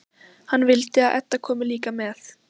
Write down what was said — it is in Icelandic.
Hann vill að Edda komi líka með.